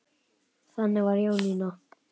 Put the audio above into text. Þannig var Jónína.